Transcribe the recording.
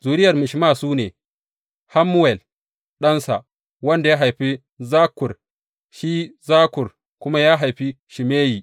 Zuriyar Mishma su ne, Hammuwel ɗansa, wanda ya haifi Zakkur, shi Zakkur kuma ya haifi Shimeyi.